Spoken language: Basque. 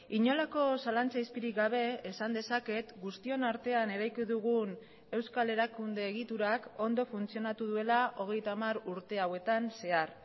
inolako zalantza izpirik gabe esan dezaket guztion artean eraiki dugun euskal erakunde egiturak ondo funtzionatu duela hogeita hamar urte hauetan zehar